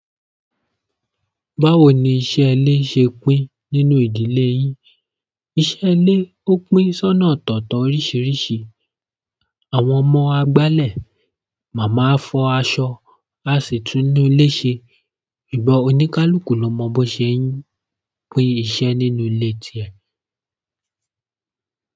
Báwo ni iṣẹ́ ilé ṣe pín nínú ìdílé yín? Iṣẹ́ ile o pín so na ọtọtọ oríṣiríṣi. Àwọn ọmọ á gbálẹ̀, màmá á fọ aṣọ, à sì túnú ilé ṣe. Ìgbà oníkálukú lọmọ bọ́ ṣe ń pín iṣẹ́ nínú ilé ti ẹ.